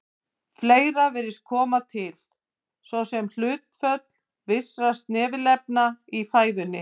Fleira virðist koma til, svo sem hlutföll vissra snefilefna í fæðunni.